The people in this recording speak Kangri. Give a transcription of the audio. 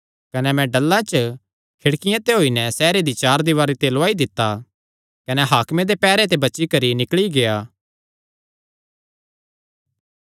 कने मैं डल्ला च खिड़किया ते होई नैं सैहरे दी चार दीवारी ते लौआई दित्ता कने हाकमे दे पैहरे ते बची करी निकल़ी गेआ